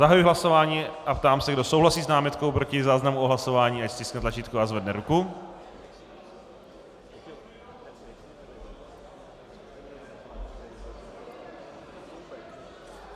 Zahajuji hlasování a ptám se, kdo souhlasí s námitkou proti záznamu o hlasování, ať stiskne tlačítko a zvedne ruku.